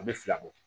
A bɛ fila bɔ